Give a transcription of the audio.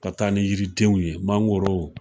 Ka taa ni yiridenw ye mangorow.